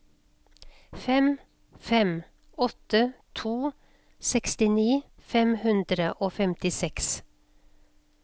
fem fem åtte to sekstini fem hundre og femtiseks